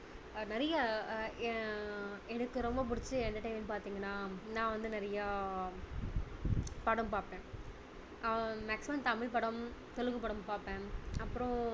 நிறைய ஆஹ் அஹ் எனக்கு ரொம்ப புடிச்ச entertainment பார்த்தீங்கன்னா நான் வந்து நிறைய படம் பார்ப்பேன் ஆஹ் maximum தமிழ் படம் தெலுங்கு படம் பார்ப்பேன் அப்பறம்